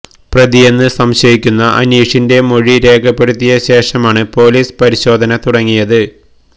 പ്രതിയെന്ന് സംശയിക്കുന്ന അനീഷിന്റെ മൊഴി രേഖപ്പെടുത്തിയ ശേഷമാണ് പോലീസ് പരിശോധന തുടങ്ങിയത്